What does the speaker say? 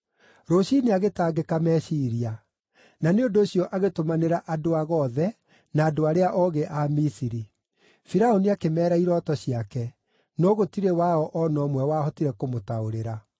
Rũciinĩ agĩtangĩka meciiria, na nĩ ũndũ ũcio agĩtũmanĩra andũ-ago othe na andũ arĩa oogĩ a Misiri. Firaũni akĩmeera irooto ciake, no gũtirĩ wao o na ũmwe wahotire kũmũtaũrĩra.